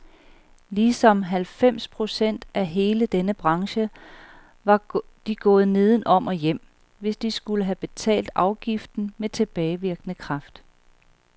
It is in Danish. Ligesom halvfems procent af hele denne branche var de gået nedenom og hjem, hvis de skulle have betalt afgiften med tilbagevirkende kraft.